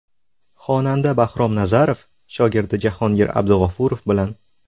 Xonanda Bahrom Nazarov shogirdi Jahongir Abdug‘ofurov bilan.